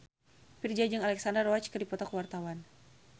Virzha jeung Alexandra Roach keur dipoto ku wartawan